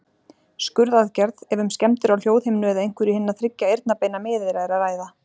Skurðaðgerð, ef um skemmdir á hljóðhimnu eða einhverju hinna þriggja eyrnabeina miðeyra er að ræða.